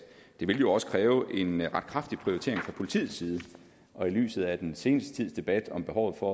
det jo også vil kræve en ret kraftig prioritering fra politiets side og i lyset af den seneste tids debat om behovet for